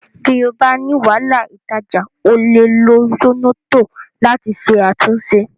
Bí o bá ní wàhálà ìtajà, o lè lo Zornoto láti ṣe àtúnṣe